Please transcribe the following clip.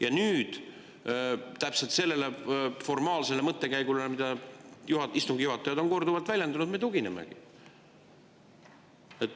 Ja nüüd me täpselt sellele formaalsele mõttekäigule, mida istungi juhatajad on korduvalt väljendanud, tuginemegi.